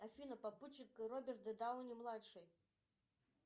афина попутчик роберт дауни младший